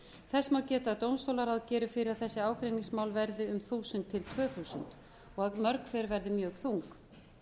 þess má geta að dómstólaráð gerir ráð fyrir að þessi ágreiningsmál verði um þúsund til tvö þúsund og að mörg hver verði mjög þung